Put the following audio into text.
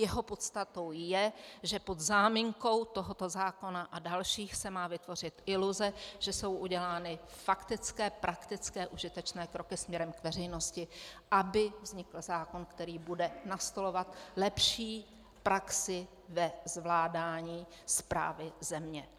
Jeho podstatou je, že pod záminkou tohoto zákona a dalších se má vytvořit iluze, že jsou udělány faktické, praktické, užitečné kroky směrem k veřejnosti, aby vznikl zákon, který bude nastolovat lepší praxi ve zvládání správy země.